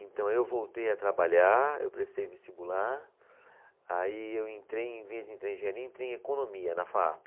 Então, eu voltei a trabalhar, eu prestei vestibular, aí eu entrei em vez de entrar em engenharia, entrei em economia na Faape.